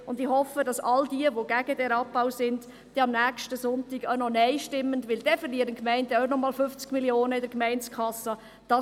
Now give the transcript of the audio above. Und ich hoffe, dass all diejenigen, die gegen diesen Abbau sind, am nächsten Sonntag Nein stimmen, denn sonst werden die Gemeinden nochmals 50 Mio. Franken in der Gemeindekasse verlieren.